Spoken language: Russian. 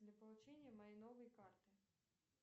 для получения моей новой карты